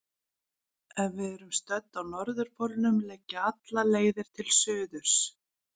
Ef við erum stödd á norðurpólnum liggja allar leiðir til suðurs.